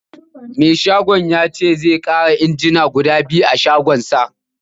Mai askin ya ce zai ƙara injina guda biyu a shagonsa